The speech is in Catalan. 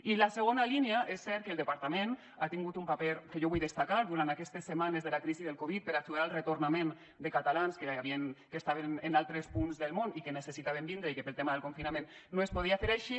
i la segona línia és cert que el departament ha tingut un paper que jo vull destacar durant aquestes setmanes de la crisi del covid per ajudar al retornament de catalans que estaven en altres punts del món i que necessitaven vindre i que pel tema del confinament no es podia fer així